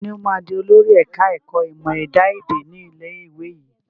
Ta ni ó máa di olórí ẹ̀ka ẹ̀kọ́ ìmọ̀ ẹ̀dá èdè ni ilé ìwé yín?